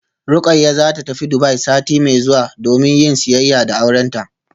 Rukayya zata tafi Dubai sati mai zuwa domin yin siyayya da aurenta